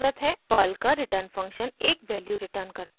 Perl का return function एक value return करता है